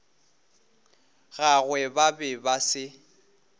gagwe ba be ba se